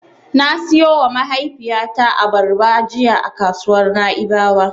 Na siyowa mahaifiyata abarba jiya a kasuwar Na'ibawa.